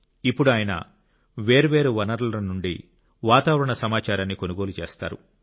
ఇప్పుడు ఆయన వేర్వేరు వనరుల నుండి వాతావరణ సమాచారాన్ని కొనుగోలు చేస్తారు